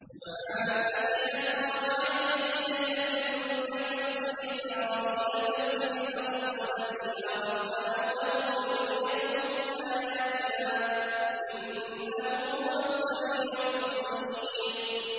سُبْحَانَ الَّذِي أَسْرَىٰ بِعَبْدِهِ لَيْلًا مِّنَ الْمَسْجِدِ الْحَرَامِ إِلَى الْمَسْجِدِ الْأَقْصَى الَّذِي بَارَكْنَا حَوْلَهُ لِنُرِيَهُ مِنْ آيَاتِنَا ۚ إِنَّهُ هُوَ السَّمِيعُ الْبَصِيرُ